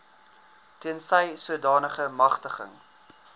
tensy sodanige magtiging